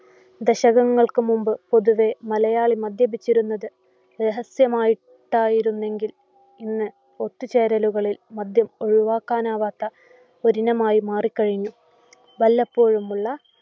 ദശകങ്ങൾക്ക് മുൻപ് പൊതുവെ മലയാളി മദ്യപിച്ചിരുന്നത് രഹസ്യമായി ട്ടായിരുന്നെങ്കിൽ ഇന്ന് ഒത്തുചേരലുകളിൽ മദ്യം ഒഴിവാക്കാനാവാത്ത ഒരിനമായി മാറിക്കഴിഞ്ഞു.